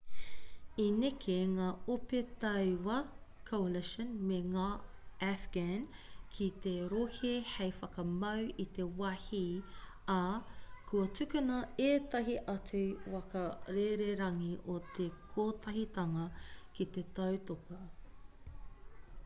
i neke ngā ope tauā coalition me ngā afghan ki te rohe hei whakamau i te wāhi ā kua tukuna ētahi atu waka rererangi o te kotahitanga ki te tautoko